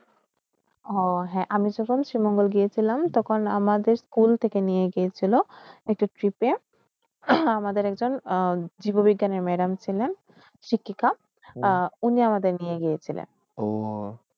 অ হে, আমি যখন শিৱমঙ্গল গিয়ে শিলাম, তখন আমাদের স্কুলদিকে নিয়ে গেসিল, একটি tirip এ, আমাদের একজন উম জীৱবিজ্ঞানে madam সিলেন, ঋতিকা। উনে আমাদের নিয়ে গেসিল।